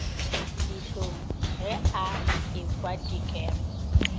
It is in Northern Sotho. dihlong ge a ekwa dikwero